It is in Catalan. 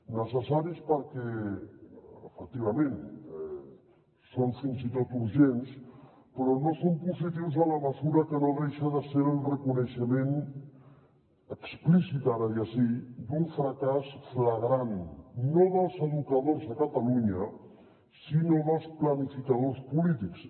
necessaris perquè efectivament són fins i tot urgents però no són positius en la mesura que no deixa de ser el reconeixement explícit ara ja sí d’un fracàs flagrant no dels educadors a catalunya sinó dels planificadors polítics